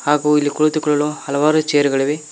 ಹಾಗು ಇಲ್ಲಿ ಕುಳಿತುಕೊಳ್ಳಲು ಹಲವಾರು ಚೇರುಗಳಿವೆ.